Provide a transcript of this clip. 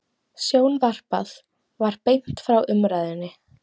Sjónvarpað var beint frá umræðunni.